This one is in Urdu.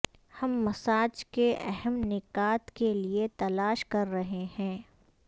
ہم مساج کے اہم نکات کے لئے تلاش کر رہے ہیں